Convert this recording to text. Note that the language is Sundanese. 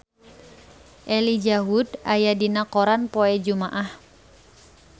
Elijah Wood aya dina koran poe Jumaah